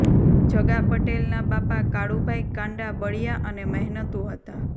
જગા પટેલના બાપા કાળું ભાઈ કાંડા બળિયા અને મહેનતુ હતા